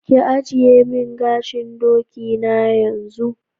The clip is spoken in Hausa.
Ki agiye min gashin doki na yanzu.